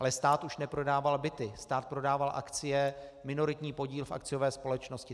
Ale stát už neprodával byty, stát prodával akcie, minoritní podíl v akciové společnosti.